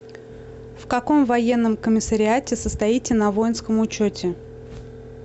в каком военном комиссариате состоите на воинском учете